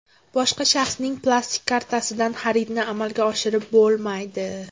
Boshqa shaxsning plastik kartasidan xaridni amalga oshirib bo‘lmaydi.